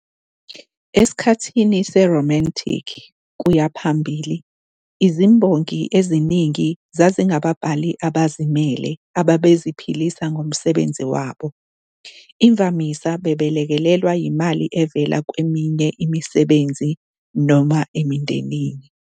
Esikhathini se-Romantic kuya phambili, izimbongi eziningi zazingababhali abazimele ababeziphilisa ngomsebenzi wabo, imvamisa belekelelwa yimali evela kweminye imisebenzi noma emndenini.